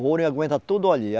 O ouro ia aguentar tudo ali.